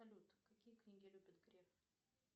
салют какие книги любит греф